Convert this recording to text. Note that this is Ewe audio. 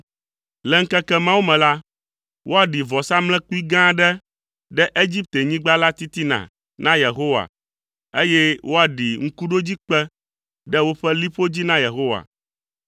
Le ŋkeke mawo me la, woaɖi vɔsamlekpui gã aɖe ɖe Egiptenyigba la titina na Yehowa, eye woaɖi ŋkuɖodzikpe ɖe woƒe liƒo dzi na Yehowa.